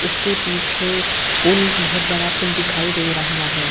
उसके पीछे पुल बहुत बड़ा पुल दिखाई दे रहा है।